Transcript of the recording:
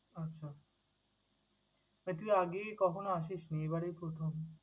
আচ্ছা! তা তুই আগে কখনো আসিস নি, এবারেই প্রথম।